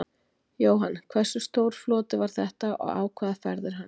Jóhann: Hversu stór floti var þetta og á hvaða ferð er hann?